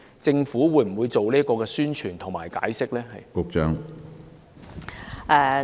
政府會否進行有關的宣傳和解釋？